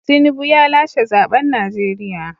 Tinubu ya lashe zaben Najeriya.